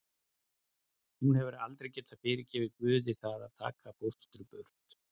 Hún hefur aldrei getað fyrirgefið Guði það að taka fóstru burt.